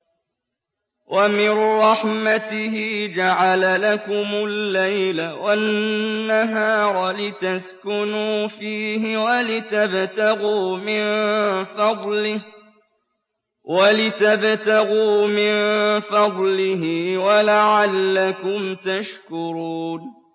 وَمِن رَّحْمَتِهِ جَعَلَ لَكُمُ اللَّيْلَ وَالنَّهَارَ لِتَسْكُنُوا فِيهِ وَلِتَبْتَغُوا مِن فَضْلِهِ وَلَعَلَّكُمْ تَشْكُرُونَ